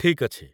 ଠିକ୍ ଅଛି